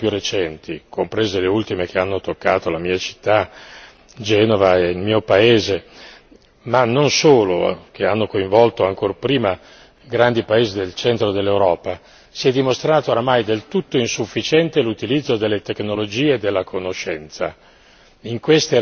In tutte le circostanze più recenti, comprese le ultime che hanno toccato la mia città, Genova e il mio paese, ma non solo che hanno coinvolto, ancor prima grandi paesi del centro dell'Europa, si è dimostrato oramai del tutto insufficiente, l'utilizzo delle tecnologie e della conoscenza.